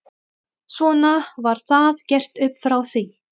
Svona var það gert upp frá því.